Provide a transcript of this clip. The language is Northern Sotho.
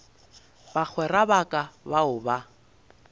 bagwera ba ka bao ba